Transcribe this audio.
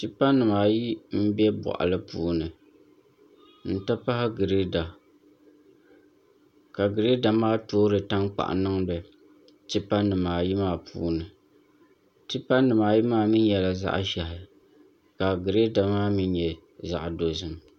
Tipa nim ayi n bɛ boɣali puuni n ti pahi Girɛda ka Girɛda maa toori tankpaɣu niŋdi tipa nim ayi maa puuni tipa nim ayi maa mii nyɛla zaɣ ʒiɛhi ka girɛda maa mii nyɛ zaɣ dozim